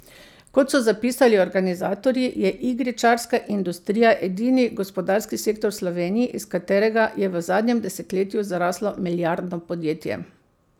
Kot so zapisali organizatorji, je igričarska industrija edini gospodarski sektor v Sloveniji, iz katerega je v zadnjem desetletju zraslo milijardno podjetje.